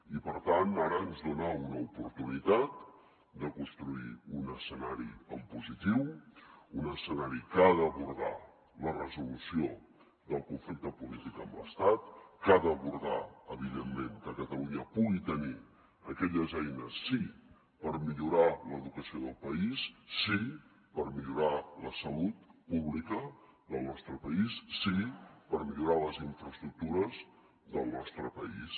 i per tant ara ens dona una oportunitat de construir un escenari en positiu un escenari que ha d’abordar la resolució del conflicte polític amb l’estat que ha d’abordar evidentment que catalunya pugui tenir aquelles eines sí per millorar l’educació del país sí per millorar la salut pública del nostre país sí per millorar les infraestructures del nostre país